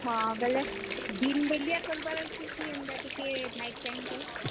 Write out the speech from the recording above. ହଁ, ବେଲେ ଦିନ୍ ବେଲିଆ କରବାର୍ ଅଛେ କି ଏନ୍ତା ଟିକେ night time ରେ?